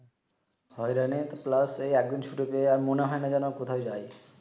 হয়রানি প্লাস এই একদিন ছুটি পেয়ে আর মনে হয় না যেনো কোথাও যাই